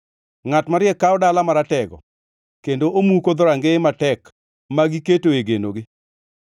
Ngʼat mariek kawo dala ngʼat maratego kendo omuko dhorangeye matek magiketoe genogi.